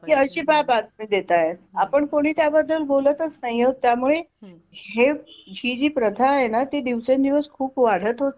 की अशी का बातमी देताय आपण कोणी त्याबद्दल बोलतच नाहीयोत त्यामुळे हे ही जी प्रथा आहे न दिवसा दिवस खूप वाढत होत चाललीय